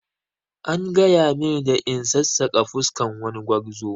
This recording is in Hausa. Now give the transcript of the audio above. An gaya mini da in sassaƙa fuskan wani gwarzo